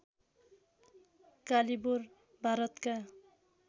कालीबोर भारतका